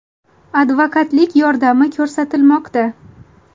Advokatlik yordami ko‘rsatilmoqda.